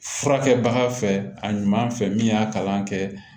Furakɛbaga fɛ a ɲuman fɛ min y'a kalan kɛ